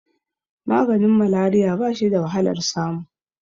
maganin malariya ba shi da wahalar samu